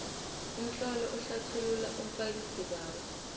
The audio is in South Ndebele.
umtlolo ohlathulula umfakisibawo